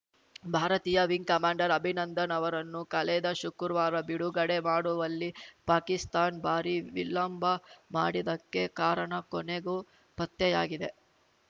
ಭಾರತೀಯ ವಿಂಗ್‌ಕಮಾಂಡರ್‌ ಅಭಿನಂದನ್‌ ಅವರನ್ನು ಕಳೆದ ಶುಕ್ರುವಾರ ಬಿಡುಗಡೆ ಮಾಡುವಲ್ಲಿ ಪಾಕಿಸ್ತಾನ್ ಭಾರೀ ವಿಳಂಬ ಮಾಡಿದಕ್ಕೆ ಕಾರಣ ಕೊನೆಗೂ ಪತ್ತೆಯಾಗಿದೆ